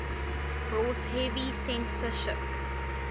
brought heavy censorship